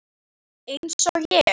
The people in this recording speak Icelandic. Eins og ég?